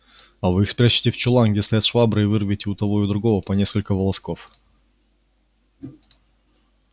а вы их спрячете в чулан где стоят швабры и вырвете у того и у другого по несколько волосков